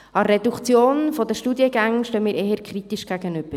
Der Reduktion der Studiengänge stehen wir eher kritisch gegenüber.